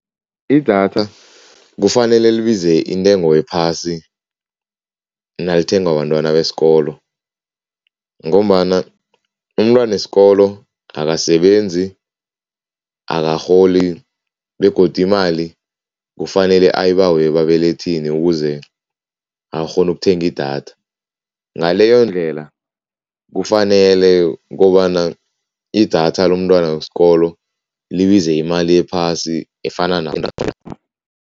Idatha kufanele libize intengo ephasi nalithengwa bentwana besikolo ngombana umntwanesikolo akasebenzi, akarholi begodu imali kufanele ayibawe ebabelethini ukuze akghone ukuthenga idatha, ngaleyondlela kufanele ukobana idatha lomntwana wesikolo libize imali ephasi efana